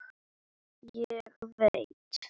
Ég veit.